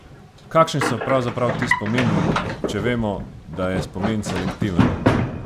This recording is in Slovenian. Kakšni so pravzaprav ti spomini, če vemo, da je spomin selektiven?